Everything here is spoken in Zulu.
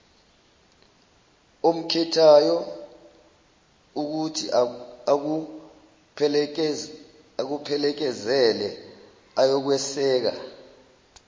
omkhethayo ukuthiakuphelekezele ayokweseka